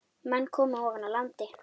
Menn komu ofan af landi.